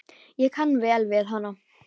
Ég kann vel við hana.